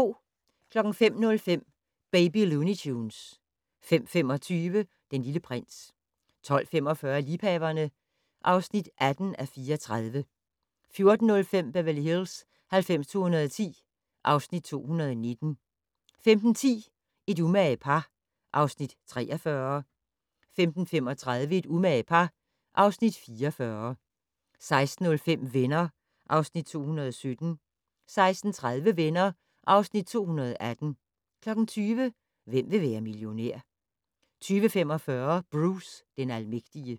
05:05: Baby Looney Tunes 05:25: Den Lille Prins 12:45: Liebhaverne (18:34) 14:05: Beverly Hills 90210 (Afs. 219) 15:10: Et umage par (Afs. 43) 15:35: Et umage par (Afs. 44) 16:05: Venner (Afs. 217) 16:30: Venner (Afs. 218) 20:00: Hvem vil være millionær? 20:45: Bruce den almægtige